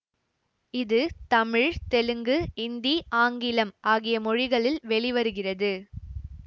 இது தமிழ் தெலுங்கு இந்தி ஆங்கிலம் ஆகிய மொழிகளில் வெளிவருகிறது